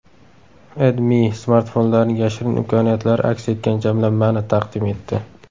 AdMe smartfonlarning yashirin imkoniyatlari aks etgan jamlanmani taqdim etdi .